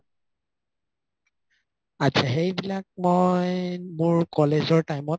আতচা সেইবিলাক মই college ৰ time ত